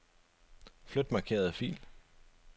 Flyt markerede fil.